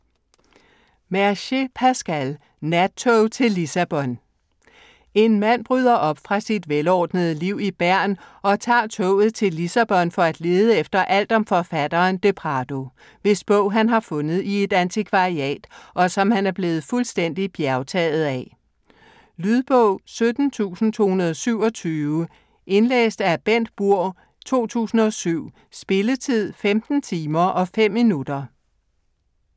Mercier, Pascal: Nattog til Lissabon En mand bryder op fra sit velordnede liv i Bern og tager toget til Lissabon for at lede efter alt om forfatteren de Prado, hvis bog han har fundet i et antikvariat, og som han er blevet fuldstændigt bjergtaget af. Lydbog 17227 Indlæst af Bengt Burg, 2007. Spilletid: 15 timer, 5 minutter.